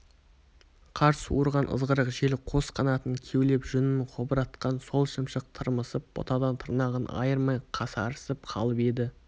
қар суырған ызғырық жел қос қанатын кеулеп жүнін қобыратқан сол шымшық тырмысып бұтадан тырнағын айырмай қасарысып қалып еді